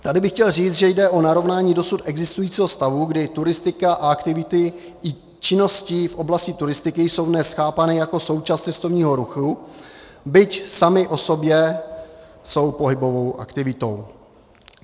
Tady bych chtěl říct, že jde o narovnání dosud existujícího stavu, kdy turistika a aktivity i činnosti v oblasti turistiky jsou dnes chápány jako součást cestovního ruchu, byť samy o sobě jsou pohybovou aktivitou.